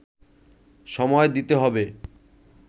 সময় দিতে হবে